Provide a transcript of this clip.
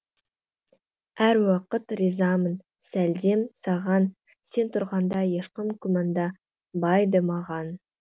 әр уақыт ризамын сәлдем саған сен тұрғанда ешкім күмәнданбайды маған